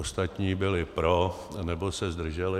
Ostatní byli pro nebo se zdrželi.